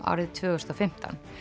árið tvö þúsund og fimmtán